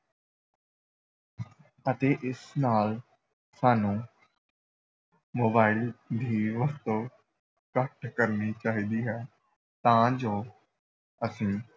ਅਤੇ ਇਸ ਨਾਲ ਸਾਨੂੰ mobile ਦੀ ਵਰਤੋਂ ਘੱਟ ਕਰਨੀ ਚਾਹੀਦੀ ਹੈ ਤਾਂ ਜੋ ਅਸੀਂ